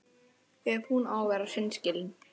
Ef hún á að vera hreinskilin.